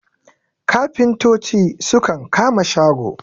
kafintoci sukan kama shago